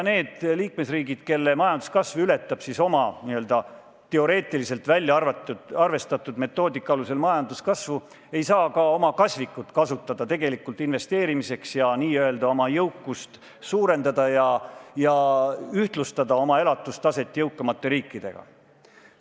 Need liikmesriigid, kelle majanduskasv ületab oma n-ö teoreetiliselt välja arvestatud metoodika alusel majanduskasvu, ei saa ka oma kasvikut kasutada tegelikult investeerimiseks ja n-ö oma jõukust suurendada ja ühtlustada oma elatustaset jõukamate riikide elatustasemega.